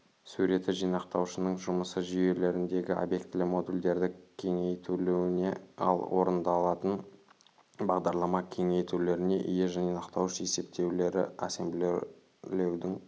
суреті жинақтаушының жұмысы жүйелеріндегі обьектілі модульдерді кеңейтілуіне ал орындалатын бағдарлама кеңейтулеріне ие жинақтауыш есептеулері ассемблерлеудің